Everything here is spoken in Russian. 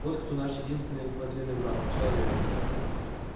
вот кто наш единственный подлинный враг человек